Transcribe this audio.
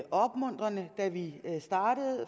opmuntrende da vi startede